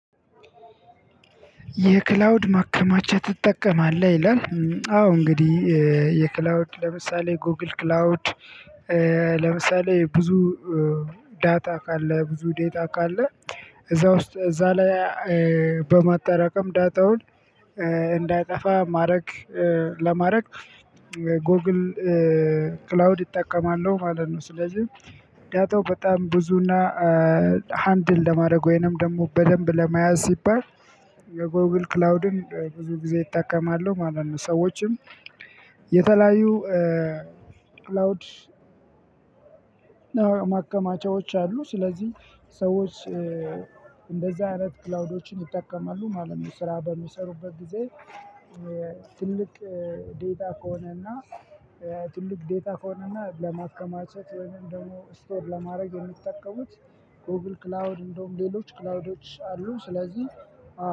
የክላውድ ማከማቻ ትጠቀማለህ? ይላል አዎ እንግዲህ የ የክላውድ ለምሳሌ ጎግል ክላውድ ለምሳሌ ብዙ ዳታ ካለ ብዙ ዳታ ካለ እዛ ውስጥ እዛ ላይ በማጠራቀም ዳታውን እንዳይጠፋ ማድረግ ለማድረግ ጎግል ክላውድ እጠቀማለሁ ማለት ነው። ስለዚህ ዳታው በጣም ብዙና ሃንድል ለማድረግ ወይንም ደግሞ በደንብ ለመያዝ ሲባል የጎግል ክላውድን ብዙ ጊዜ እጠቀማለሁ ማለት ነው። ሰዎችም ይ የተለያዩ ክላውድ ማከማቻዎች አሉ። ስለዚህ ሰዎች እንደዛ አይነት ክላውዶችን ይጠቀማሉ ማለት ነው። ስራ በሚሰሩበት ጊዜ ትልቅ ዳታ ከሆነና ትልቅ ዳታ ከሆነና ለማከማቸት ወይም ደግሞ ስቶር ለማድረግ የሚጠቀሙት ጎግል ክላውድ እንዲሁም ሌሎች ክላውዶች አሉ። ስለዚህ